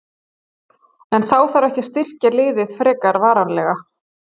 En þarf þá ekki að styrkja liðið frekar varnarlega?